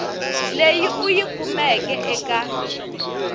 leyi u yi kumeke eka